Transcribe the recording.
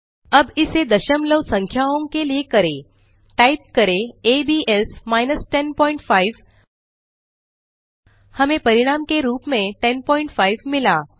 अब इसे दशमलव संख्याओं के लिए करें टाइप करें abs 105 हमें परिणाम के रूप में 105 मिला